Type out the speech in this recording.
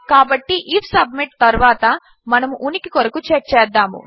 కాబట్టి IF submit తరువాత మనము ఉనికి కొరకు చెక్ చేద్దాము